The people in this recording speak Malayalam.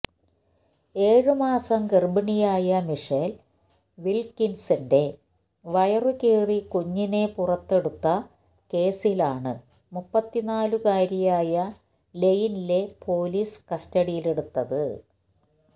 ഏഴു മാസം ഗർഭിണിയായ മിഷേൽ വിൽകിൻസിന്റെ വയറുകീറി കുഞ്ഞിനെ പുറത്തെടുത്ത കേസിലാണ് മുപ്പത്തിനാലുകാരിയായ ലെയ്നിലെ പൊലീസ് കസ്റ്റഡിയിലെടുത്തത്